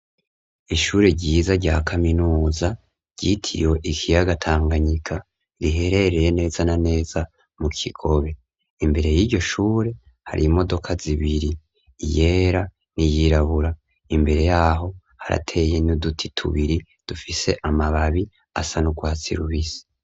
Ishure ryiza rya kaminuza ryitiriwe ikiyaga Tanganyika, riherereye neza na neza mu Kigobe. Imbere y'iryo shure hari imodoka zibiri, iyera n'iyirabura. Imbere y'aho harateye n'uduti tubiri dufise amababi asa n'urwatsi rubisi.